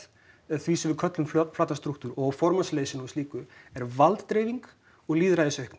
því sem við köllum flatann strúktúr og formannsleysinu og slíku er valddreifing og